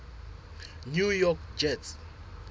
new york jets